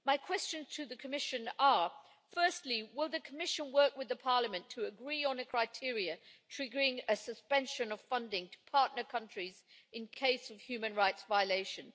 My questions to the Commission are firstly, will the Commission work with Parliament to agree on a criteria triggering a suspension of funding to partner countries in cases of human rights violations?